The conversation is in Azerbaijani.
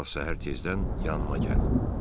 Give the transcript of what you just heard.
Sabah səhər tezdən yanıma gəl.